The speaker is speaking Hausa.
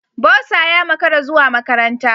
Bursar ya makara zuwa makaranta.